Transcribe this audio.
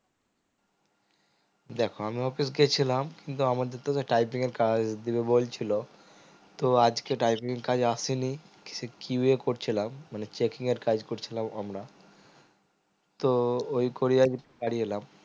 দেখো আমি office গেছিলাম কিন্তু আমাদের তো typing এর কাজ দিবে বলছিলো তো আজকে typing এর কাজ আসেনি সে qa এ করছিলাম মানে checking এর কাজ করছিলাম আমরা তো ওই করে আজ বাড়ি এলাম